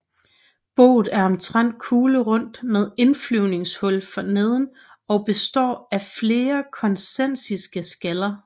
Boet er omtrent kuglerundt med indflyvningshul forneden og består af flere koncentriske skaller